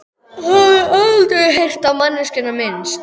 Hafði aldrei heyrt á manneskjuna minnst.